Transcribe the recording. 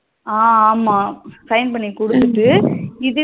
அஹ ஆமா sign பண்ணி குடுத்துட்டு இதுவே